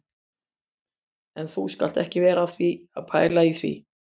En þú skalt ekki vera að pæla í því